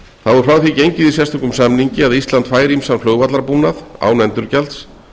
þá er frá því gengið í sérstökum samningi að ísland fær ýmsan flugvallarbúnað án endurgjalds